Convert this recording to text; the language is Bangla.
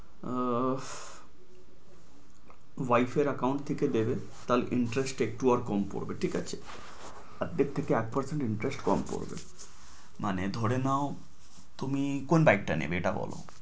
উহ wife এর account থেকে দেবে, তাহলে interest টা একটু কম পড়বে, ঠিক আছে? অর্ধেক থেকে এক percent interest কম পড়বে মানে ধরে নেও। তুমি কোন বাইকটা নেবে? এটা বলো।